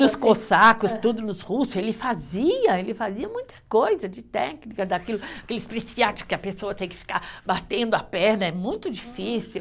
Nos cossacos, tudo nos russos, ele fazia, ele fazia muita coisa de técnica, daquilo, aquele que a pessoa tem que ficar batendo a perna, é muito difícil.